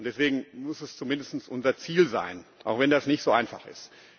Deswegen muss das zumindest unser Ziel sein auch wenn das nicht so einfach ist.